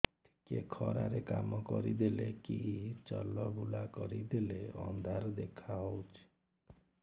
ଟିକେ ଖରା ରେ କାମ କରିଦେଲେ କି ଚଲବୁଲା କରିଦେଲେ ଅନ୍ଧାର ଦେଖା ହଉଚି